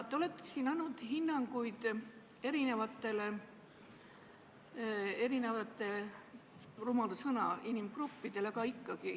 Te olete siin andnud hinnanguid erinevatele – rumal sõna – inimgruppidele.